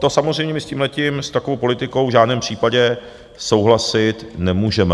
To samozřejmě my s tímhletím, s takovou politikou v žádném případě souhlasit nemůžeme.